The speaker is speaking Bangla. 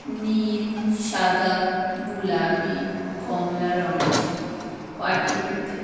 নীল সাদা গুলাবি কমলা রঙের পাটি পেতে--